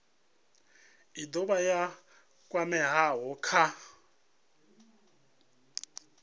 i dovha ya kwamea kha